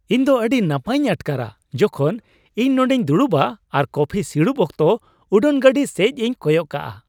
ᱤᱧ ᱫᱚ ᱟᱹᱰᱤ ᱱᱟᱯᱟᱭᱤᱧ ᱟᱴᱠᱟᱨᱼᱟ ᱡᱚᱠᱷᱚᱱ ᱤᱧ ᱱᱚᱸᱰᱮᱧ ᱫᱩᱲᱩᱵᱼᱟ ᱟᱨ ᱠᱚᱯᱷᱤ ᱥᱤᱲᱩᱵ ᱚᱠᱛᱚ ᱩᱰᱟᱹᱱ ᱜᱟᱹᱰᱤ ᱥᱮᱡᱽᱤᱧ ᱠᱚᱭᱚᱜ ᱠᱟᱜᱼᱟ ᱾